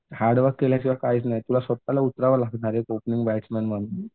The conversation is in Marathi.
हार्डवर्क केल्याशिवाय काहीच नाही तुला स्वतःलाच उतरावं लागणार आहे ओपनिंग बॅट्समन म्हणून.